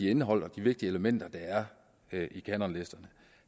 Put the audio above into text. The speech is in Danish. indhold og de vigtige elementer der er i kanonlisterne